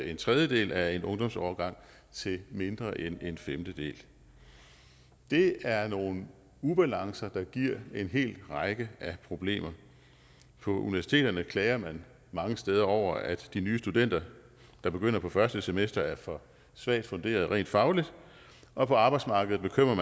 en tredjedel af en ungdomsårgang til mindre end en femtedel det er nogle ubalancer der giver en hel række problemer på universiteterne klager man mange steder over at de nye studenter der begynder på første semester er for svagt funderede rent fagligt og på arbejdsmarkedet bekymrer